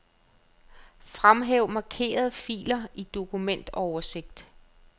Fremhæv markerede filer i dokumentoversigt.